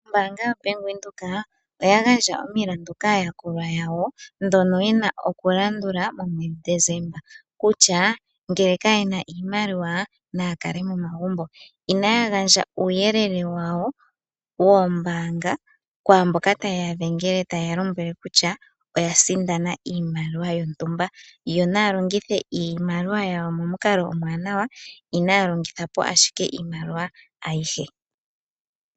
Ombaanga yoBank Windhoek oya gandja omilandu kaayakulwa yawo ndhono ye na okulandula momwedhi Desemba. Ngele kaye na iimaliwa naya kale momagumbo. Inaya gandja uuyelele wawo woombaanga kwaa mboka taye ya dhengele taye ya lombwele kutya oya sindana iimaliwa yontumba. Yo naya longithe iimaliwa yawo momukalo omuwanawa, inaya longitha po ashike iimaliwa ayihe.